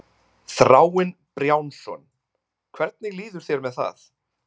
Þráinn Brjánsson: Hvernig líður þér með það?